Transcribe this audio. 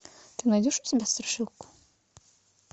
ты найдешь у себя страшилку